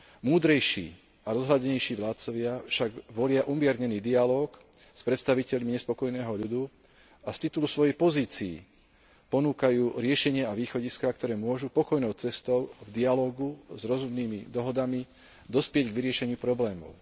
Múdrejší a rozhľadenejší vládcovia však volia umiernený dialóg s predstaviteľmi nespokojného ľudu a z titulu svojich pozícií ponúkajú riešenia a východiská, ktoré môžu pokojnou cestou v dialógu, s rozumnými dohodami, dospieť k vyriešeniu problémov.